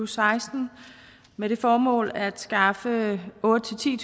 seksten med det formål at skaffe otte tusind